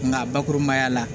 Nka bakurubaya la